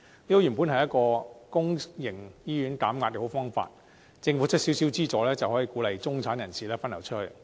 這本來是一個為公營醫院減壓的好方法，政府提供少少資助，便能鼓勵中產人士分流出去。